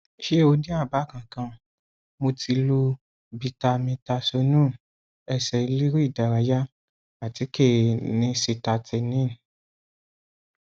ṣé o jẹ àbá kankan mo ti lo bitamitasóònù ẹsẹ elére ìdárayá àtíkè nisitatíìnì